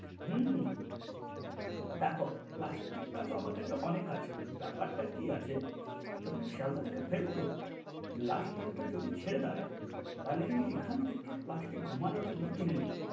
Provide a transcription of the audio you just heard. হম হম দেখো প্লাষ্টিক টা তো আমার কাছে অনেক আছে ব্যাপার টা কি আছে যখন শিয়ালদা থেকে ফিরি তো last train টা যদি ছেড়ে দেয় তাহলে আমি এখন থেকে প্লাস্টিক ঘুমানোর জন্য কিনে নিই,